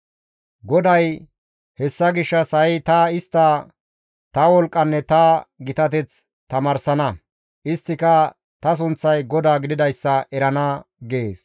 GODAY, «Hessa gishshas ha7i ta istta ta wolqqanne ta gitateth tamaarsana; isttika ta sunththay GODAA gididayssa erana» gees.